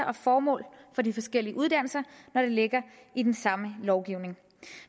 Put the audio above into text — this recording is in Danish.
og formål for de forskellige uddannelser når det ligger i den samme lovgivning